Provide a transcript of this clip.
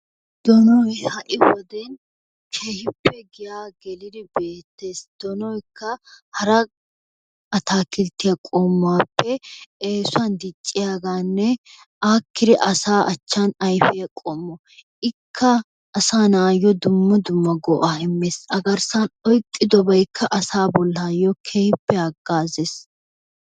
Doonoy ha'i wode keehippe giyaa gelidi bayzzettees. doonoykka hara ataakilttiyaa qommuwaappe eesuwaan dicciyaaganne aakkidi asaa achchan ayfiyaa qommo. Ikka asaa naatussi dumma dumma go"aa immees. Agarssaan oyqqidoobaykka asaa garssan keehippe hagaazees.